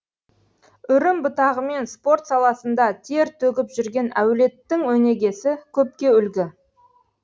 үрім бұтағымен спорт саласында тер төгіп жүрген әулеттің өнегесі көпке үлгі